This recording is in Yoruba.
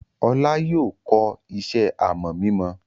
Olú yóò kọ́ iṣẹ́ àmọ̀ mímọ!